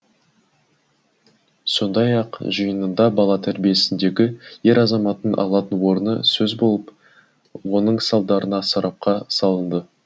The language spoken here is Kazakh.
сондай ақ жиында бала тәрбиесіндегі ер азаматтың алатын орны сөз болып оның салдарына сарапқа салынды